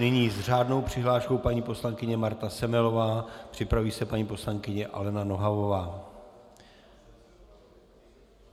Nyní s řádnou přihláškou paní poslankyně Marta Semelová, připraví se paní poslankyně Alena Nohavová.